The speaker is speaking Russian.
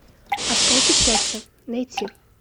осколки счастья найти